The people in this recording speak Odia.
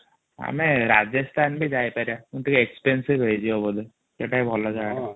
ଆମେ ରାଜସ୍ତାନ ଯାଇ ପାରିବ ମୁ ଟିକେ ଏକ୍ସପରେନ୍ସ ବି ହେଇଯିବା ବୋଧେ ସେଇଟା ବି ଭଲ ଜାଗା ଟା